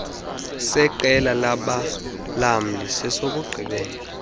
seqela labalamli sesokugqibela